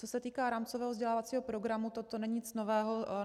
Co se týká rámcového vzdělávacího programu, toto není nic nového.